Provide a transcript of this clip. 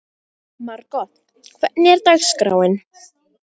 Margot, hvernig er dagskráin?